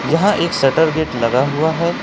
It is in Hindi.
यहां एक शटर गेट लगा हुआ है।